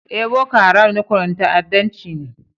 Eh, Boko Haram rukunin ta'addancci ne.